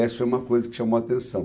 Essa foi uma coisa que chamou a atenção.